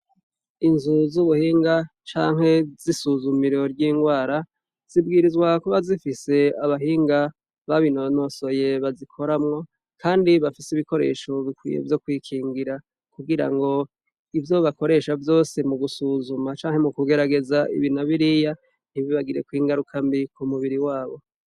Inzu z’ubuhinga canke z’isuzumiro ry’ingwara , zibwirizwa kuba zifise abahinga babinonosoye baziramwo Kandi bafise ibikoresho bikwiye vyo kwikingira, kugirango ivyo bakoresha vyose mugusuzuma canke mukugerageza ibi na biriya ntibibagirekw’ingaruka mbi kumubiri wabo.